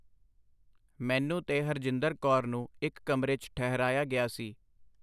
ਮੈਨੂੰ ਤੇ ਹਰਜਿੰਦਰ ਕੌਰ ਨੂੰ ਇੱਕ ਕਮਰੇ 'ਚ ਠਹਿਰਾਇਆ ਗਿਆ ਸੀ.